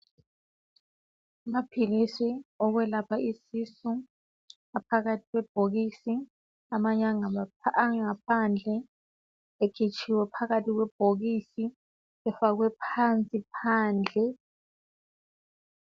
Amaphilisi okwelapha isisu aphakathi kwebhokisi amanye angaphandle ekhitshiwe phakathi kwebhokisi efakwe phansi phandle.